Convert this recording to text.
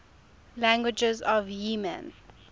languages of yemen